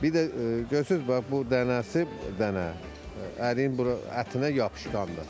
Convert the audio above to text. Bir də görürsüz bax bu dənəsi dənə əriyin bura ətinə yapışqandır.